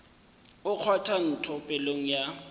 o kgwatha ntho pelong ya